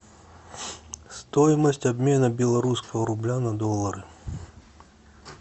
стоимость обмена белорусского рубля на доллары